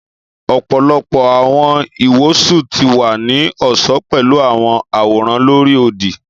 ọpọlọpọ awọn iwosun ti wa ni ọṣọ pẹlu awọn aworan lori odi.